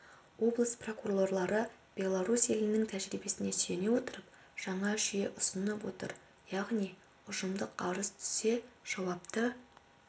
облыс прокурорлары беларусь елінің тәжірибесіне сүйене отырып жаңа жүйе ұсынып отыр яғни ұжымдық арыз түссе жауапты